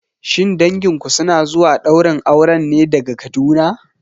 Shin danginku suna zuwa ɗaurin auren ne daga Kaduna?